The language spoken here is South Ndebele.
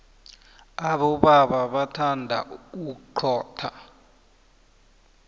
abobaba bathanda uxhotha